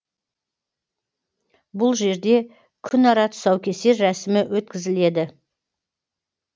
бұл жерде күн ара тұсаукесер рәсімі өткізіледі